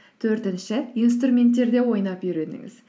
төртінші инструменттерде ойнап үйреніңіз